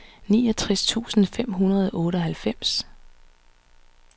niogtres tusind fem hundrede og otteoghalvfems